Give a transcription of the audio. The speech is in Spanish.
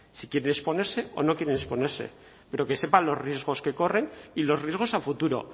si quieren exponerse o no quieren exponerse pero que sepan los riesgos que corren y los riesgos a futuro